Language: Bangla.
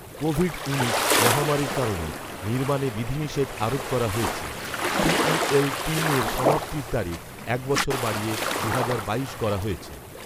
কোভিড উনিশ মহামারীর কারণে নির্মাণে বিধিনিষেধ আরোপ করা হয়েছে, টিইএল তিনের সমাপ্তির তারিখ এক বছর বাড়িয়ে দুহাজার বাইশ করা হয়েছে